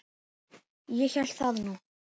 Ég hélt það nú.